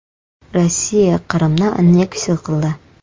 Rossiya Qrimni anneksiya qildi.